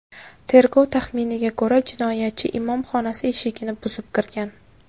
Tergov taxminiga ko‘ra, jinoyatchi imom xonasi eshigini buzib kirgan.